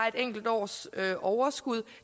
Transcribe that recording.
et enkelt års overskud